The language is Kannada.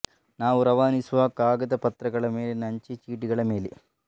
ನಾವು ರವಾನಿಸುವ ಕಾಗದ ಪತ್ರಗಳ ಮೇಲಿನ ಅಂಚೆ ಚೀಟಿಗಳ ಮೇಲೆ